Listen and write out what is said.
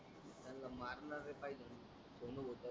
मारणारे पहिजे सोणू होता णा